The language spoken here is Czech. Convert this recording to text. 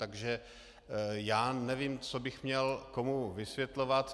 Takže já nevím, co bych měl komu vysvětlovat.